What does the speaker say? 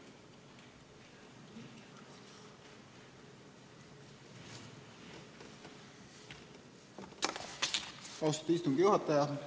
Austatud istungi juhataja!